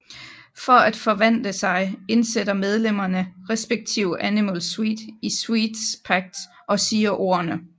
For at forvandle sig indsætter medlemmerne respktive Animal Sweet i Sweets Pact og siger ordene